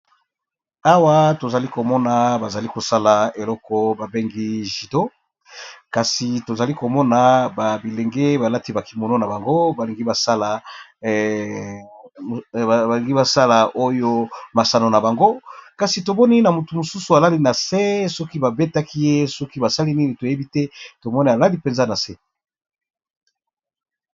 Awa tozali komona azalikosala eloko ba bengi judo kasi tozokomona ba bilenge balati ba kimono, balingibasa oyo masano nabango; kasi tomoni mutu misusu alali nase sokî ba betakiye sokî basaliye Nini toyebite tomoni alali nase .